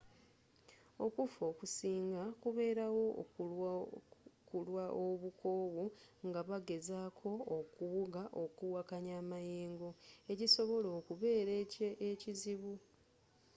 okuffa okusinga kubeerawo kulwa obukoowu nga bagezako okuwuga okuwakanya amayeengo ekisobola okubeera ekizibu